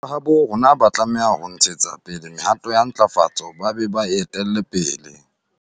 Batjha ba habo rona ba tlameha ho ntshetsa pele mehato ya ntlafatso ba be ba e etelle pele.